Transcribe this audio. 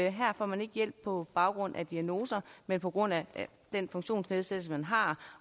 at her får man ikke hjælp på baggrund af en diagnose men på grund af den funktionsnedsættelse man har